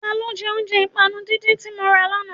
Ta ló jẹ́ oúnjẹ ìpànu díndín tí mọ ra lánàá?